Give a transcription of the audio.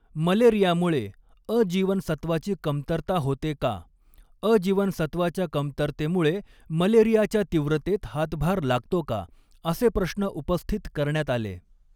मलेरियामुळे 'अ' जीवनसत्त्वाची कमतरता होते का, 'अ' जीवनसत्त्वाच्या कमतरतेमुळे मलेरियाच्या तीव्रतेत हातभार लागतो का, असे प्रश्न उपस्थित करण्यात आले.